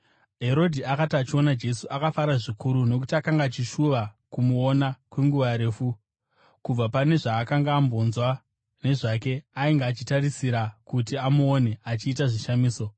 Herodhi akati achiona Jesu, akafara zvikuru, nokuti akanga achishuva kumuona kwenguva refu. Kubva pane zvaakanga ambonzwa nezvake, ainge achitarisira kuti amuone achiita zvishamiso.